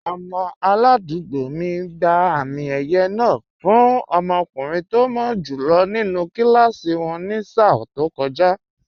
Ọmọ aládùúgbò mi gba àmì ẹ̀yẹ náà fún ọmọkùnrin tó mọ́ jù lọ nínú kíláàsì wọn ní sáà tó kọjá